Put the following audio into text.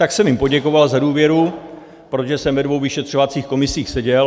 Tak jsem jim poděkoval za důvěru, protože jsem ve dvou vyšetřovacích komisích seděl.